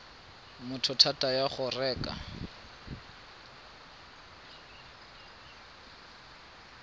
motho thata ya go reka